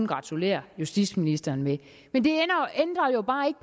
gratulere justitsministeren med men det ændrer jo bare ikke